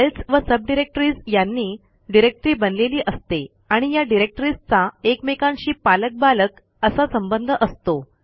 files व subdirectories यांनी directory बनलेली असते आणि या डिरेक्टरीजचा एकमेकांशी पालक बालक असा संबंध असतो